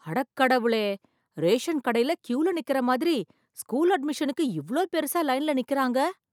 அடக்கடவுளே ration கடையில் க்யூல நிக்கிற மாதிரி ஸ்கூல் அட்மிஷனுக்கு இவ்ளோ பெருசா லைன்ல நிக்கிறாங்க